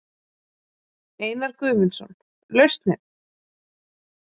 Einar Guðmundsson: Lausnin?